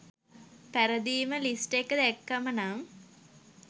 පැරදීම් list එක දැක්කම නම්